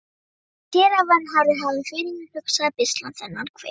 Séra Vernharður hafði fyrirhugað að beisla þennan hver.